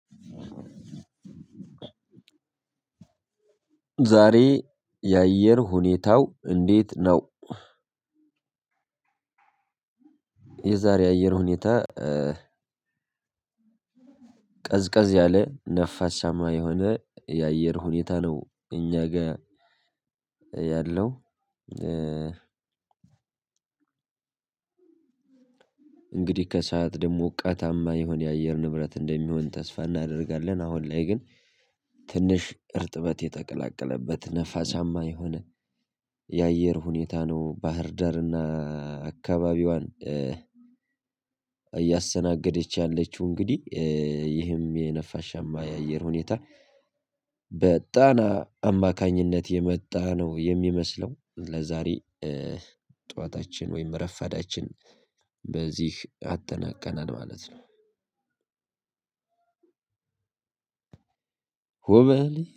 ዛሬ የአየር ሁኔታው እንዴት ነው? የዛሬ አየር ሁኔታ ቀዝቀዝ ያለ ነፋሻማ የሆነ የአየር ሁኔታ ነው እኛ ጋር ያለው። እንግዲህ ከሰአት ደግሞ ሞቃታማ የሆነ የአየር ንብረት እንደሚሆን ተስፋ እናደርጋለን። አሁን ላይ ግን ትንሽ እርጥበት የተቀላቀለበት ንፋሳማ የሆነ የአየር ሁኔታ ነው ባህርዳርና አካባቢዋን እያስተናገደች ያለችው እንግዲህ ይህን የነፋሻማ የአየር ሁኔታ በጣና አማካኝነት የመጣ ነው የሚመስለው ለዛሬ። ጠዋታችን ወይም ረፈዳችን በዚህ አጠናቀናል ማለት ነው። ሆበል!